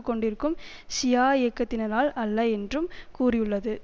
கொண்டிருக்கும் ஷியா இயக்கத்தினரால் அல்ல என்றும் கூறியுள்ளது